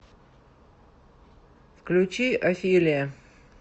включи офелия